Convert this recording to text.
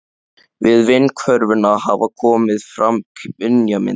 Við vindsvörfunina hafa komið fram kynjamyndir.